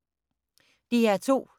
DR2